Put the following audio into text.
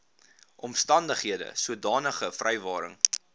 omstandighede sodanige vrywaring